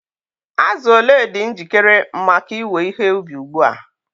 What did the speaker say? Azụ ole dị njikere maka iwe ihe ubi ugbu a?